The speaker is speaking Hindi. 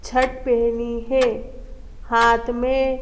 छट पहनी है हाथ में --